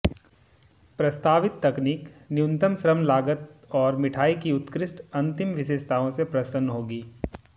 प्रस्तावित तकनीक न्यूनतम श्रम लागत और मिठाई की उत्कृष्ट अंतिम विशेषताओं से प्रसन्न होगी